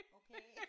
Okay